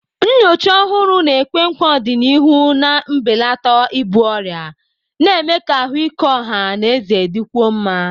Nnyocha ọhụrụ na-ekwe nkwa ọdịnihu na mbelata ibu ọrịa, na-eme ka ahụike ọha na eze dịkwuo mma.